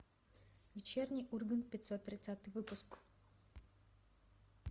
вечерний ургант пятьсот тридцатый выпуск